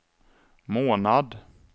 månad